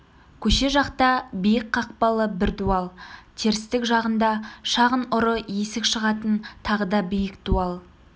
көше жақта биік қақпалы бір дуал терістік жағында шағын ұры есік шығатын тағы да биік дуал